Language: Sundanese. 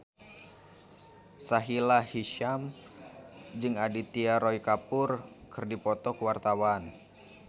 Sahila Hisyam jeung Aditya Roy Kapoor keur dipoto ku wartawan